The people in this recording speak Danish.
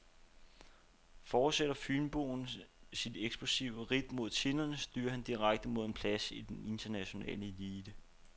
Fortsætter fynboen sit eksplosive ridt mod tinderne, styrer han direkte mod en plads i den internationale elite.